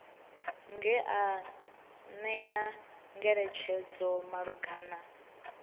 nga u ṅea ngeletshedzo malugana